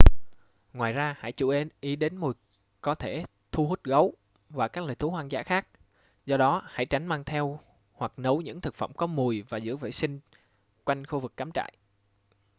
ngoài ra hãy chú ý đến mùi có thể thu hút gấu và các loài thú hoang dã khác do đó hãy tránh mang theo hoặc nấu những thực phẩm có mùi và giữ gìn vệ sinh quanh khu vực cắm trại